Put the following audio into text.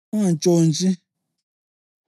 Ungantshontshi.